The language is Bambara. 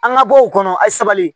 An ka bɔ o kɔnɔ a ye sabali